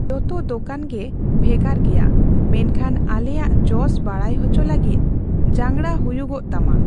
ᱡᱚᱛᱚ ᱫᱳᱠᱟᱱ ᱜᱮ ᱵᱷᱮᱜᱟᱨ ᱜᱮᱭᱟ, ᱢᱮᱱᱠᱷᱟᱱ ᱟᱞᱮᱭᱟᱜ ᱡᱚᱥ ᱵᱟᱲᱟᱭ ᱦᱚᱪᱚ ᱞᱟᱹᱜᱤᱫ ᱡᱟᱝᱜᱲᱟ ᱦᱩᱭᱩᱚᱼᱜ ᱛᱟᱢᱟ ᱾